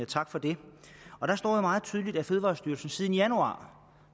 tak for det og der står jo meget tydeligt at fødevarestyrelsen siden januar